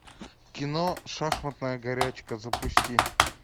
кино шахматная горячка запусти